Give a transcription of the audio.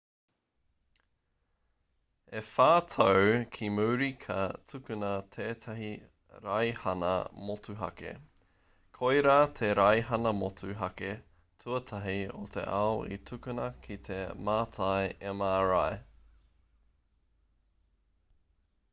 e whā tau ki muri ka tukuna tētahi raihana motuhake koirā te raihana motuhake tuatahi o te ao i tukuna ki te mātai mri